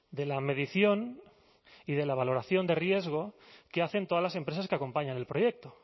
de la medición y de la valoración de riesgo que hacen todas las empresas que acompañan el proyecto